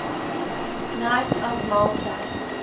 knights of malta